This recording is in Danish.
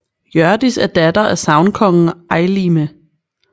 Hjørdis er datter af sagnkongen Eylime